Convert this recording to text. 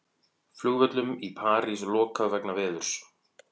Flugvöllum í París lokað vegna veðurs